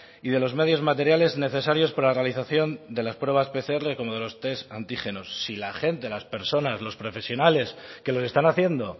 y de los medios materiales necesarios para la realización de las pruebas pcr como de los test antígenos si la gente las personas los profesionales que los están haciendo